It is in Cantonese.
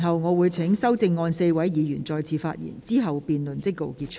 我會請提出修正案的4位議員再次發言，之後辯論即告結束。